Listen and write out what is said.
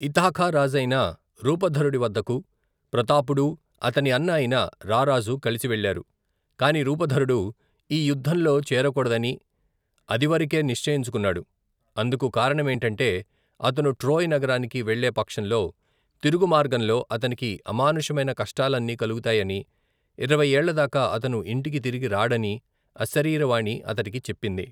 Ithaca రాజైన రూపధరుడివద్దకు, ప్రతాపుడూ, అతని అన్న అయిన రారాజ కలిసివెళ్లారు, కాని రూపధరుడు, ఈ యుద్దంలో చేరకూడదని, అదివరకే నిశ్చయించుకున్నాడు అందుకు కారణమేoటoటే అతను ట్రోయ్ నగరానికి వెళ్లే పక్షంలో, తిరుగుమార్గంలో, అతనికి అమానుషమైన కష్టాలన్నీ కలుగుతాయనీ, ఇరవై ఏళ్లదాకా అతను ఇంటికి తిరిగి రాడనీ అశరీరవాణి అతడికి చెప్పింది.